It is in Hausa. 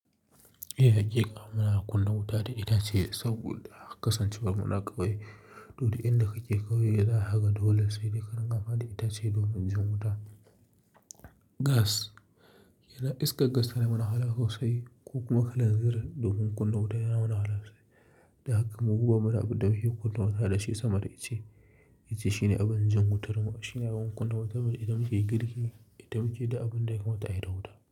Eh, haƙiƙa muna kunna wuta da itace saboda kasance war muna ƙauye. To duk inda kake ƙauye, za kaga dole sai dai ka ringa amfani da itace domin jin wuta. Gas yana iskar gass tana mana wahala sosai ko kuma kalan zir domin kunna wuta yana mana wahala sosai. Da haka mu bamu da abun da muke kunna wuta da shi sama da ice. Ice shine abin jan wutar mu, shine abin kunna wutar mu idan muke yi girki, idan muke yi da abin da ya kamata a yi da wuta.